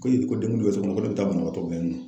Ko ko den bɛ cogo min na ko ne bɛ taa banabaatɔ kɛ yen nɔ